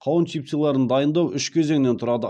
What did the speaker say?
қауын чипсыларын дайындау үш кезеңнен тұрады